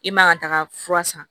I man ka taga fura san